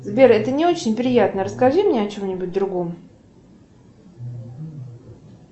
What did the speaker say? сбер это не очень приятно расскажи мне о чем нибудь другом